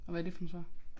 Og hvad det for nogle svar